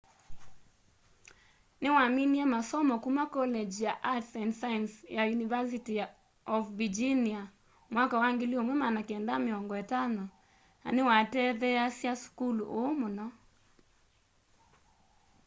niwaminie masomo kuma college of arts and sciences ya university of virginia mwaka wa 1950 na niwatetheeasya sukulu ũu mũno